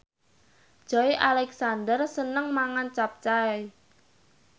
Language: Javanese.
Joey Alexander seneng mangan capcay